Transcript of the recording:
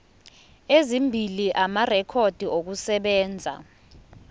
ezimbili amarekhodi okusebenza